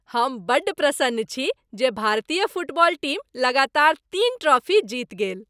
हम बड़ प्रसन्न छी जे भारतीय फुटबॉल टीम लगातार तीन ट्रॉफी जीति गेल।